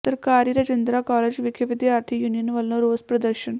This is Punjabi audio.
ਸਰਕਾਰੀ ਰਜਿੰਦਰਾ ਕਾਲਜ਼ ਵਿਖੇ ਵਿਦਿਆਰਥੀ ਯੂਨੀਅਨ ਵੱਲੋਂ ਰੋਸ ਪ੍ਰਦਰਸ਼ਨ